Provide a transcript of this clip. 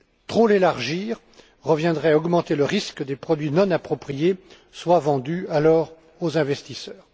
Trop l'élargir reviendrait à augmenter le risque que des produits non appropriés soient vendus alors aux investisseurs.